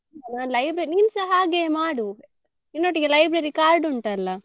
ನಾನ್ library ನೀನ್ಸಾ ಹಾಗೇ ಮಾಡು ನಿನ್ನೊಟ್ಟಿಗೆ library card ಉಂಟಲ್ಲ.